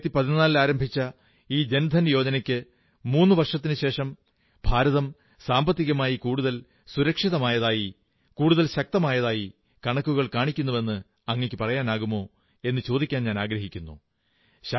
2014 ൽ ആരംഭിച്ച ഈ ജൻധൻ യോജനയ്ക്ക് മൂന്നു വർഷത്തിനുശേഷം ഭാരതം സാമ്പത്തികമായി കൂടുതൽ സുരക്ഷിതമായതായി കുടുതൽ ശക്തമായതായി കണക്കുകൾ കാണിക്കുന്നുവെന്ന് അങ്ങയ്ക്കു പറയാനാകുമോ എന്നു ചോദിക്കാനാഗ്രഹിക്കുന്നു